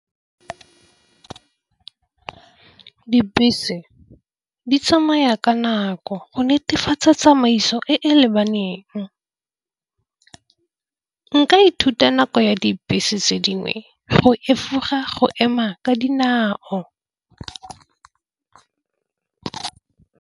Dibese di tsamaya ka nako go netefatsa tsamaiso e e lebaneng. Nka ithuta nako ya dibese tse dingwe go efoga go ema ka dinao.